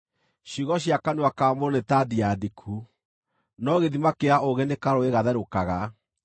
Ciugo cia kanua ka mũndũ nĩ ta ndia ndiku, no gĩthima kĩa ũũgĩ nĩ karũũĩ gatherũkaga.